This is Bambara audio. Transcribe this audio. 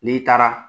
N'i taara